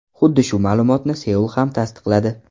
Xuddi shu ma’lumotni Seul ham tasdiqladi.